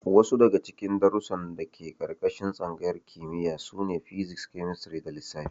Wasu daga cikin darussan da ke ƙarƙashin tsangayar kimiyya sune: Physics, Chemistry da Lissafi.